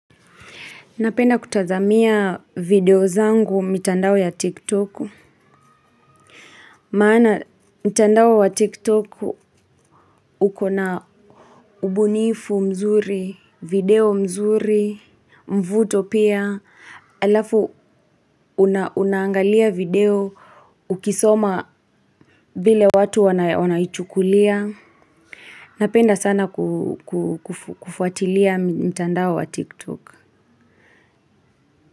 Napenda kutazamia video zangu mitandao ya tiktoku. Maana mitandao wa tiktoku ukona ubunifu mzuri, video mzuri, mvuto pia, alafu unaangalia video ukisoma vile watu wanaichukulia. Napenda sana kufuatilia mitandao wa tiktoku.